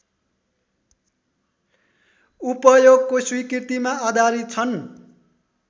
उपयोगको स्वीकृतिमा आधारित छन्